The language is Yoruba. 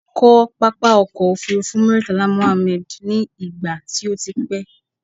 A kọ́ pápá ọkọ̀ òfurufú Muritala Mohammed ní ìgbà tí o ti pẹ́